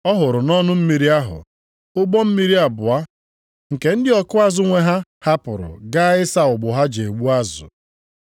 Ọ hụrụ nʼọnụ mmiri ahụ, ụgbọ mmiri abụọ nke ndị ọkụ azụ nwe ha hapụrụ gaa ịsa ụgbụ ha ji egbu azụ.